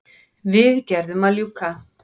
Viðgerðum að ljúka